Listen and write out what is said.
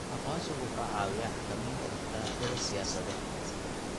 Aqoonsigu waxa uu caawiyaa xakamaynta dhaqdhaqaaqyada siyaasadeed.